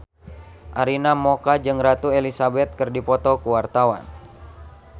Arina Mocca jeung Ratu Elizabeth keur dipoto ku wartawan